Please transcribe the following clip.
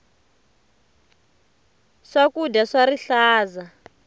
swakudya swa rihlaza